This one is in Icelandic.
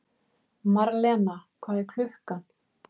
Marlena, hvað er klukkan?